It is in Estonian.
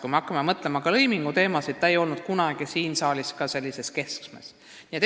Kui hakata mõtlema ka lõiminguteemadele, siis ei ole alusharidus kunagi siin saalis arutelude keskmes olnud.